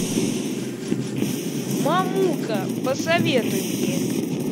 мамука посоветуй мне